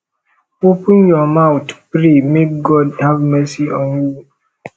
open your mouth pray make god have mercy on you